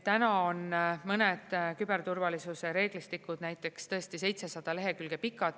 Täna on mõned küberturvalisuse reeglistikud näiteks tõesti 700 lehekülge pikad.